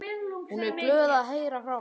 Hún er glöð að heyra frá mér.